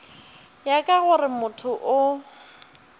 ya ka gore motho o